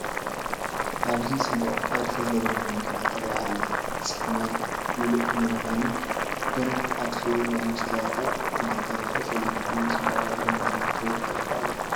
ኣብዚ ፅቡቕ ቅርፂ ዘለዋ መኪና ትርአ ኣላ፡፡ ፅልማ ሙሉእ ምዃኑ ግን ኣኽፊኡላ፡፡ መስትያታ እንተይተረፈ ፀሊም ብምዃኑ ፅባቐአ ብምኽንያት ሕብሪ ጠፊኡ ኣሎ፡፡